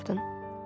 dedi Jordan.